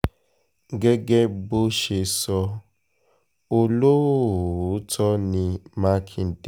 gẹ́gẹ́ bó ṣe sọ olóòótọ́ ní mákindé